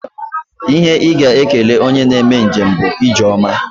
Ihe ị ga-ekele onye na-eme njem bụ ije ọma